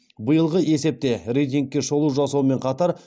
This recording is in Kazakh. биылғы есепте рейтингке шолу жасаумен қатар